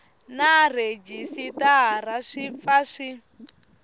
na rhejisitara swi pfa swi